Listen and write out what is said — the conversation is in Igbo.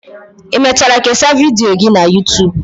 Ị mechara kesaa vidiyo gị na youtube